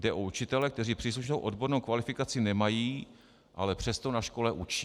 Jde o učitele, kteří příslušnou odbornou kvalifikaci nemají, ale přesto na škole učí.